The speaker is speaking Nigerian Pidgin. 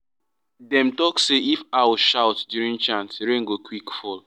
dem talk say if owl shout during chant rain go quick fall.